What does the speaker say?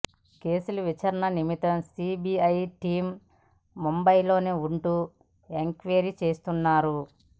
case విచారణ నిమిత్తం CBI team ముంబైలోని ఉంటూ ఎంక్వైరీ చేస్తున్నారు